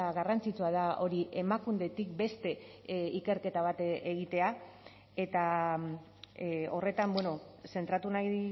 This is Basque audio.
garrantzitsua da hori emakundetik beste ikerketa bat egitea eta horretan zentratu nahi